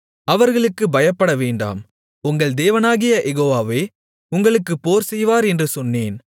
அவர்களுக்குப் பயப்படவேண்டாம் உங்கள் தேவனாகிய யெகோவாவே உங்களுக்காகப் போர் செய்வார் என்று சொன்னேன்